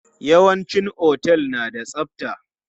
Yawanci otel na da tsabta.